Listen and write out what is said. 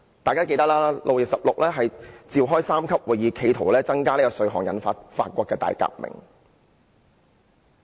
大家也記得，當年路易十六召開三級會議企圖增加稅項，結果引發法國大革命。